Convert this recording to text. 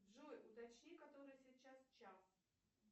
джой уточни который сейчас час